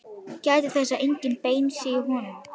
Gætið þess að engin bein séu í honum.